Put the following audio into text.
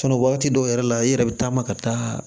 wagati dɔw yɛrɛ la i yɛrɛ be taama ka taa